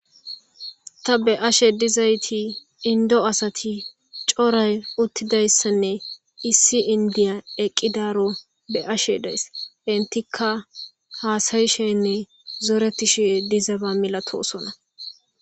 ta be ashe dizayti indo asati coray uttidayssanne issi indiya eqqidaro be ashe days intika haasayishenne zoretishie dizaba milatosona